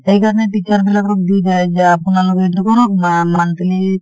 সেইকাৰণে teacher বিলাকক দি যায় যে আপোনালোকে ইটো কৰক বা monthly